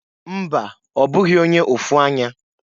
Mba! Ọ bụghị onye ụfụ anya.